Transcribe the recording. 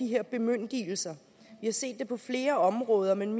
her bemyndigelser vi har set det på flere områder men